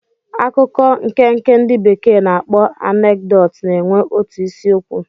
Akụkọ nkenke ndị bekee na-akpọ anekdot na-enwe otu isiokwu.